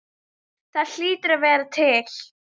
Það hlýtur að vera til?